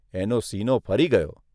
એનો સીનો ફરી ગયો.